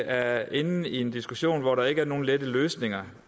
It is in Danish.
er inde i en diskussion hvor der ikke er nogen lette løsninger